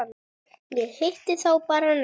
Ég hitti þá bara næst.